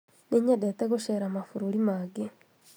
nĩnyendete gũceera mabũrũri mangĩ